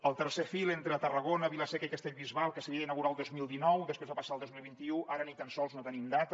el tercer fil entre tarragona vila seca i castellbisbal que s’havia d’inaugurar el dos mil dinou després va passar al dos mil vint u ara ni tan sols no tenim data